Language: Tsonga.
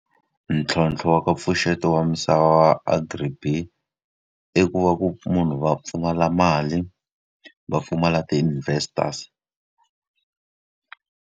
Ntlhontlho wa ka mpfuxeto wa misava Agri-BEE, i ku va ku munhu va pfumala mali, va pfumala ti-investors.